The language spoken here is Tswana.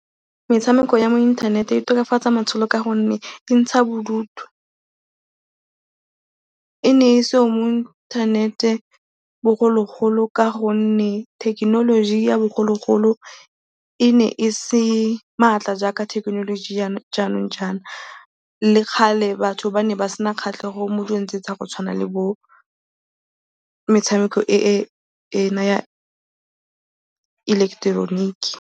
Metshameko ya mo inthanete e tokafatsa matshelo ka gonne e ntsha bodutu. E ne e seyo mo inthanete bogologolo ka gonne thekenoloji ya bogologolo e ne e se maatla jaaka thekenoloji ya jaanong jaana, le kgale batho ba ne ba sena kgatlhego mo dilong tse tsa go tshwana le bometshameko ena ya ileketeroniki.